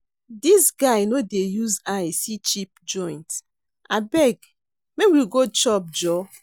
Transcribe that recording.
Dis guy no dey use eye see cheap joint, abeg make we go chop joor.